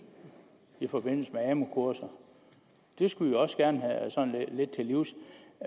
i forbindelse med amu kurser det skulle vi også gerne lidt til livs